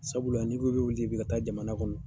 Sabula ni ko k'i bɛ wuli bi ka taa jamana kɔnɔ